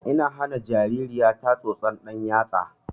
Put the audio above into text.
Ina hana jaririya ta tsotson ɗan yatsa